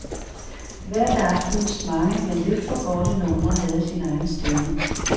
Hvert af aftenens mange men lidt for korte numre havde sin egen stemme.